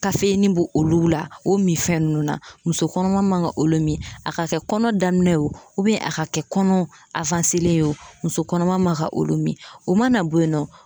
kayeni be olu la o mifɛn nunnu na muso kɔnɔma man ka olu mi a ka kɛ kɔnɔ daminɛ ye o ubiyɛn a ka kɛ kɔnɔ awanselen ye wo muso kɔnɔma man ka olu mi o mana bo yen nɔ